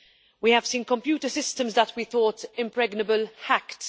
We have seen computer systems that we thought impregnable hacked.